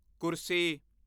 ਕੁਰਸੀ